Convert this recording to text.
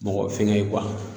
Mɔgɔ fɛngɛ ye kuwa